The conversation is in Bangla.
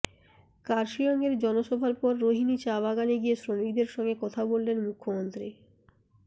কার্শিয়ঙের জনসভার পর রোহিনী চা বাগানে গিয়ে শ্রমিকদের সঙ্গে কথা বললেন মুখ্যমন্ত্রী